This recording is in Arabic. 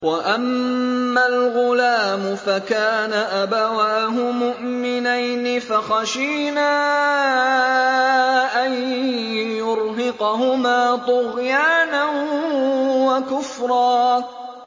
وَأَمَّا الْغُلَامُ فَكَانَ أَبَوَاهُ مُؤْمِنَيْنِ فَخَشِينَا أَن يُرْهِقَهُمَا طُغْيَانًا وَكُفْرًا